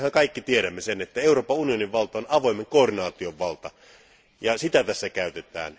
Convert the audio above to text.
Mehän kaikki tiedämme sen, että Euroopan unionin valta on avoimen koordinaation valtaa, ja sitä tässä käytetään.